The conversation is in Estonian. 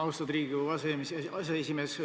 Austatud Riigikogu aseesimees!